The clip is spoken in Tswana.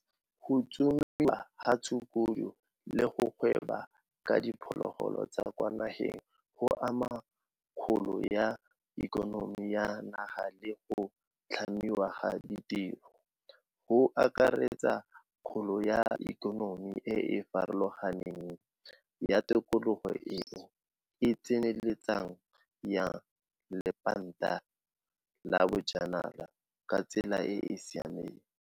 Go tsomiwa ga ditshukudu le go gweba ka diphologolo tsa kwa nageng go ama kgolo ya ikonomi ya naga le go tlhamiwa ga ditiro, go akaretsa kgolo ya ikonomi e e farologaneng ya tikologo eo e tsenyeletsang ya lephata la bonajanala ka tsela e e sa siamang.